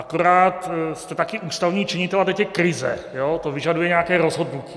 Akorát jste také ústavní činitel a teď je krize a to vyžaduje nějaké rozhodnutí.